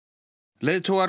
leiðtogar